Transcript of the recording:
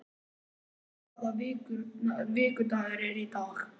Sera, hvaða vikudagur er í dag?